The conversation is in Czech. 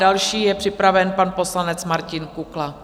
Další je připraven pan poslanec Martin Kukla.